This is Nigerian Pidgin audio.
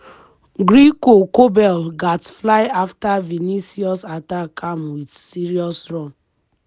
gregor kobel gatz fly afta vinicius attack am wit serious run.